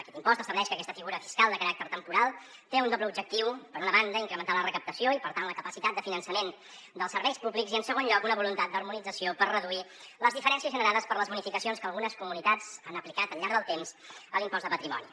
aquest impost estableix que aquesta figura fiscal de caràcter temporal té un doble objectiu per una banda incrementar la recaptació i per tant la capacitat de finançament dels serveis públics i en segon lloc una voluntat d’harmonització per reduir les diferències generades per les bonificacions que algunes comunitats han aplicat al llarg del temps a l’impost de patrimoni